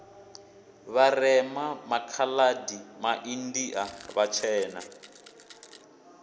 vharema makha adi maindia vhatshena